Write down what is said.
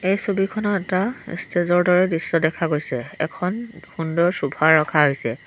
এই ছবিখনত এটা ষ্টেজৰ দৰে দৃশ্য দেখা গৈছে এখন সুন্দৰ ছফা ৰখা হৈছে।